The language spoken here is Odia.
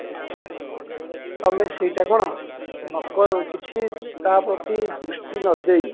ତମେ ସେଇଟା କଣ କିଛି ତା ପ୍ରତି ଦୃଷ୍ଟି ନ ଦେଇ